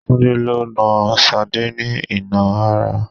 Tunde lo nà Sade ní ìnà ara